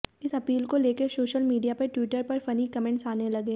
इसी अपील को लेकर सोशल मीडिया पर ट्विटर पर फनी कमेंट्स आने लगे